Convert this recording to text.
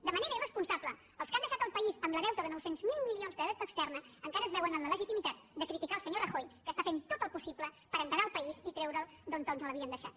de manera irresponsable els que han deixat el país amb el deute de nou cents miler milions de deute extern encara es veuen amb la legitimitat de criticar el senyor rajoy que està fent tot el possible per endegar el país i treure’l d’on ens l’havien deixat